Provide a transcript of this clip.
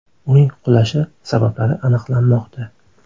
Uning qulashi sabablari aniqlanmoqda.